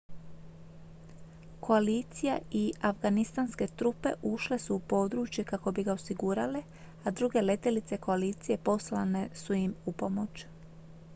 koalicija i afganistanske trupe ušle su u područje kako bi ga osigurale a druge letjelice koalicije poslane su im upomoć